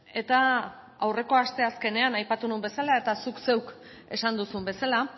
eta aurreko asteazkenean aipatu nuen bezala eta zuk zeuk esan duzun bezala